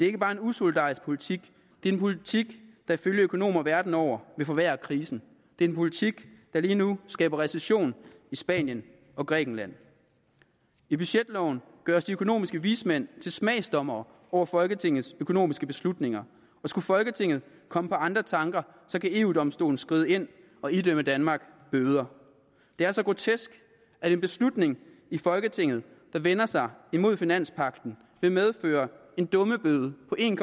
ikke bare en usolidarisk politik det er en politik der ifølge økonomer verden over vil forværre krisen det er en politik der lige nu skaber recession i spanien og grækenland i budgetloven gøres de økonomiske vismænd til smagsdommere over folketingets økonomiske beslutninger og skulle folketinget komme på andre tanker kan eu domstolen skride ind og idømme danmark bøder det er så grotesk at en beslutning i folketinget der vender sig imod finanspagten vil medføre en dummebøde på en